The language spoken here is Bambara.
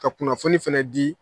Ka kunnafoni fɛnɛ di